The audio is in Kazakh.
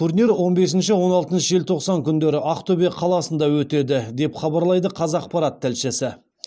турнир он бесінші он алтыншы желтоқсан күндері ақтөбе қаласында өтеді деп хабарлайды қазақпарат тілшісі